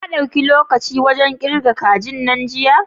Ka dauki lokaci wajan ƙirga kajin nan jiya?